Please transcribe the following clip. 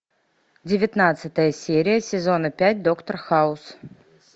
девятнадцатая серия сезона пять доктор хаус